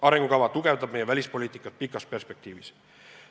Arengukava tugevdab meie välispoliitikat pikas perspektiivis.